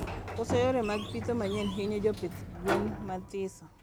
Koso yore mag pitho manyien hinyo jopidh gwen mathiso